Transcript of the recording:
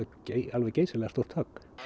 alveg geysilega stórt högg